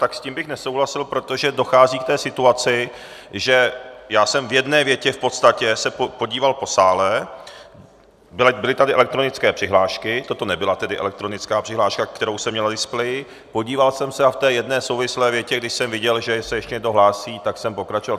Tak s tím bych nesouhlasil, protože dochází k té situaci, že já jsem v jedné větě v podstatě se podíval po sále, byly tady elektronické přihlášky, toto nebyla tedy elektronická přihláška, kterou jsem měl na displeji, podíval jsem se a v té jedné souvislé větě, když jsem viděl, že se ještě někdo hlásí, tak jsem pokračoval.